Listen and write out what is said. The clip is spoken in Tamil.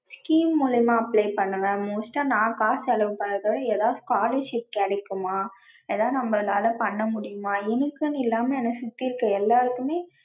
scheme மூலியமா apply பண்ணுவேன். most டா நா காசு செலவு பண்றத விட எதாவுது scholarship கெடைக்குமா. ஏதாவது நம்ம நால பண்ண முடியுமா. எனக்குன்னு இல்லாம என்ன சுத்தி இருக்ற எல்லாருக்குமே